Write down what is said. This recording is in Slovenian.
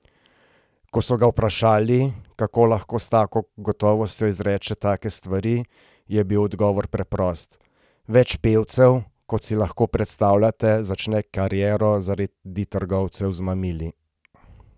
Ko so ga vprašali, kako lahko s tako gotovostjo izreče take stvari, je bil odgovor preprost: 'Več pevcev, kot si lahko predstavljate, začne kariero zaradi trgovcev z mamili.